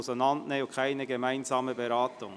Wir trennen es und machen keine gemeinsame Beratung.